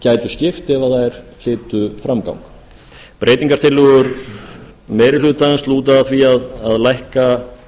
gætu skipt ef þær hlytu framgang breytingartillögum meiri hlutans meiri hlutans lúta að því að lækka